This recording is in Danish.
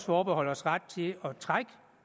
forbeholde os ret til at trække